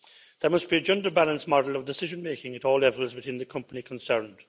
There must be a gender-balanced model of decision making at all levels within the company concerned.